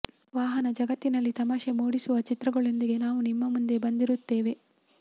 ವಾಹನ ಜಗತ್ತಿನಲ್ಲಿ ತಮಾಷೆ ಮೂಡಿಸುವ ಚಿತ್ರಗಳೊಂದಿಗೆ ನಾವು ನಿಮ್ಮ ಮುಂದೆ ಬಂದಿರುತ್ತೇವೆ